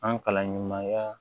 An kalan ɲumanya